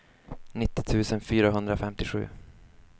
nittio tusen fyrahundrafemtiosju